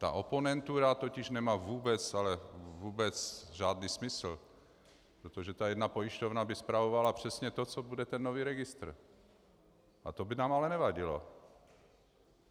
Ta oponentura totiž nemá vůbec, ale vůbec žádný smysl, protože ta jedna pojišťovna by spravovala přesně to, co bude ten nový registr, a to by nám ale nevadilo.